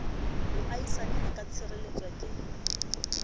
moahisane a ka tshireletswa ke